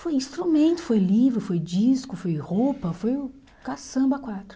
Foi instrumento, foi livro, foi disco, foi roupa, foi caçamba a quatro.